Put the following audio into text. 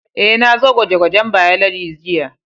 Eh, na zo gwaje-gwajen Biology jiya.